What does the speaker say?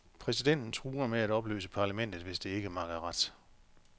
Præsidenten truer med at opløse parlamentet hvis det ikke makker ret.